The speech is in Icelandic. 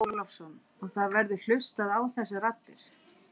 Andri Ólafsson: Og það verður hlustað á þessar raddir?